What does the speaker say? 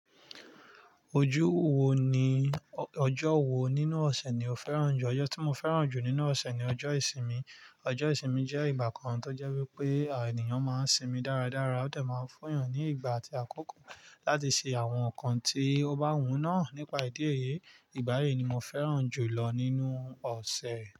Ojú wo ni- ọjọ́ wo nínú ọ̀sẹ̀ ni o fẹ́ràn jù? Ọjọ́ tí mo fẹ́ràn jù nínú ọ̀sẹ̀ ni ọjọ́ ìsinmi. Ọjọ́ ìsinmi jẹ́ ìgbà kan tó jẹ́ wípé ènìyàn máa ń sinmi dáradára. Ó de máa ń fún èèyàn ní ìgbà àti àkókò láti ṣe àwọn nǹkan tí ó bá wù náà nípa ìdí èyi. Ìgbà yí ni mo fẹ́ràn jù lọ nínú ọ̀sẹ̀.